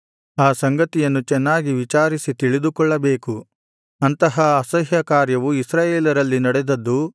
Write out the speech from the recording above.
ಆ ಸಂಗತಿಯನ್ನು ಚೆನ್ನಾಗಿ ವಿಚಾರಿಸಿ ತಿಳಿದುಕೊಳ್ಳಬೇಕು ಅಂತಹ ಅಸಹ್ಯಕಾರ್ಯವು ಇಸ್ರಾಯೇಲರಲ್ಲಿ ನಡೆದದ್ದು